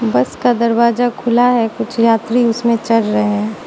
बस का दरवाजा खुला है कुछ यात्री उसमें चढ़ रहे हैं।